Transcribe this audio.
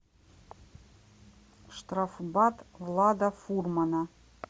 штрафбат влада фурмана